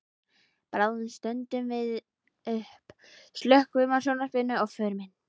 Bráðum stöndum við upp, slökkvum á sjónvarpinu og förum inn.